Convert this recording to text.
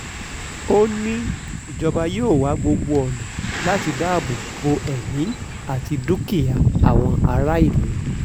ó ní ìjọba yóò wá gbogbo ọ̀nà láti dáàbò bo ẹ̀mí àti dúkìá àwọn aráàlú